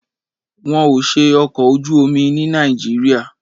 Wọn ò ṣe ọkọ̀ ojú omi ní Nàìjíríà.